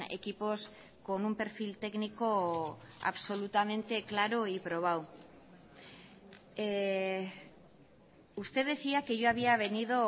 equipos con un perfil técnico absolutamente claro y probado usted decía que yo había venido